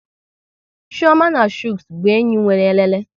Chioma na Chuks bụ enyi nwere elele